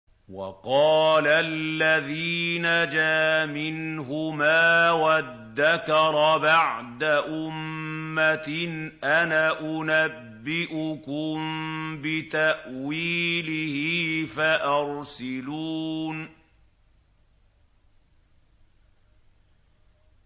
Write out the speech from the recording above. وَقَالَ الَّذِي نَجَا مِنْهُمَا وَادَّكَرَ بَعْدَ أُمَّةٍ أَنَا أُنَبِّئُكُم بِتَأْوِيلِهِ فَأَرْسِلُونِ